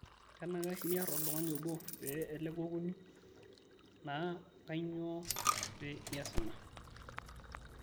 kenaikash niarr oltung'ani obo pee eleku okuni, naa kainyoo pe ias ina